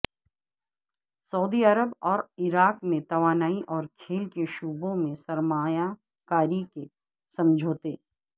سعودی عرب اور عراق میں توانائی اور کھیل کے شعبوں میں سرمایہ کاری کے سمجھوتے